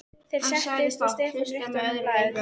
Þeir settust og Stefán rétti honum blaðið.